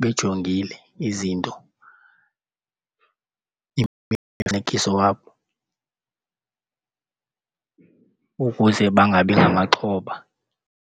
bejongile izinto ukuze bangabi ngamaxhoba.